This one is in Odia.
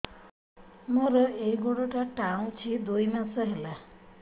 ମୋର ଏଇ ଗୋଡ଼ଟା ଟାଣୁଛି ଦୁଇ ମାସ ହେଲା